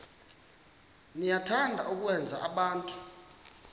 niyathanda ukwenza abantu